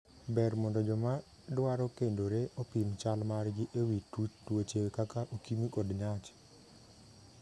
Ber mondo joma dwaro kendore opim chal margi e wii tuche kaka okimi kod nyach.